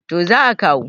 to za a kawo